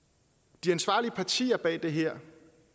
de ansvarlige partier bag det her